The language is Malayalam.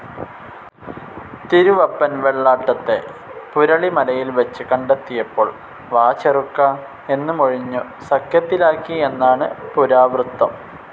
തിരുവപ്പൻ വെള്ളാട്ടത്തെ പുരളിമലയിൽ വെച്ച് കണ്ടെത്തിയപ്പോൾ വാചെറുക്കാ എന്നു മൊഴിഞ്ഞു സഖ്യത്തിലാക്കി എന്നാണു പുരാവൃത്തം.